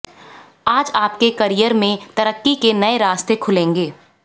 आज आपके करियर में तरक्की के नए रास्ते खुलेंगे